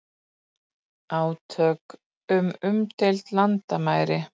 Átök við umdeild landamæri